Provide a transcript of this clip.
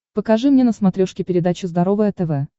покажи мне на смотрешке передачу здоровое тв